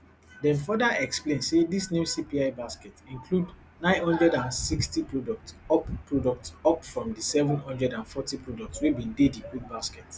dem further explain say dis new cpi basket include nine hundred and sixty products up products up from di seven hundred and forty products wey bin dey di old basket